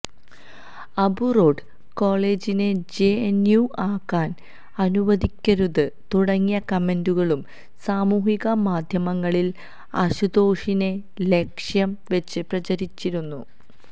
Abu road കോളജിനെ JNU ആകാന് അനുവദിക്കരുത് തുടങ്ങിയ കമന്റുകളും സാമൂഹിക മാധ്യമങ്ങളില് അശുതോഷിനെ ലക്ഷ്യം വെച്ച് പ്രചരിച്ചിരുന്നു